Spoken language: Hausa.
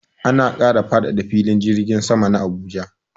Ana kara faɗaɗa filin jirgin sama na Abuja.